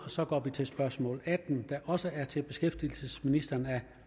så går vi til spørgsmål atten der også er til beskæftigelsesministeren af